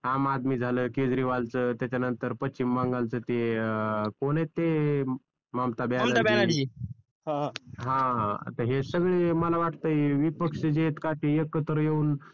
आम आदमी झालं केजरीवाल च त्याच्यानंतर पश्चिम बंगाल च ते अं कोण आहेत ते ममता बॅनर्जी अं हा तर हे सगळे मला वाटतंय विपक्ष जे आहेत का ते एकत्र येऊन